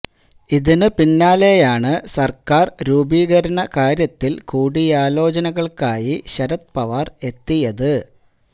ഇതിന് പിന്നാലെയാണ് സര്ക്കാര് രൂപീകരണ കാര്യത്തില് കൂടിയാലോചനകള്ക്കായി ശരത് പവാര് എത്തിയത്